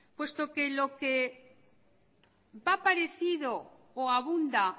puesto que lo que va parecido o abunda